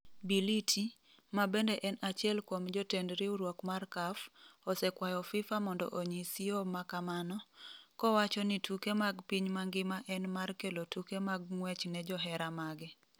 Bility, ma bende en achiel kuom jotend riwruok mar CAF, osekwayo FIFA mondo onyis yo ma kamano, kowacho ni tuke mag piny mangima en mar kelo tuke mag ng’wech ne johera mage.